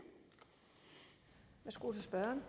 skulle parterne